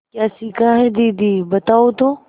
क्या सीखा है दीदी बताओ तो